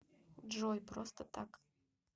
джой просто так